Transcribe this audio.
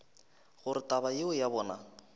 gore taba yeo ya bona